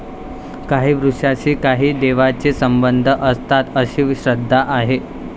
काही वृक्षांशी काही देवांचे संबंध असतात, अशी श्रद्धा आहे.